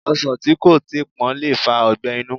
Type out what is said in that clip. Ọsàn tí kò tíi pọ́n lè fa ọgbẹ́ inú